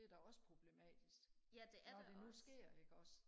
det er da også problematisk når det nu sker ikke også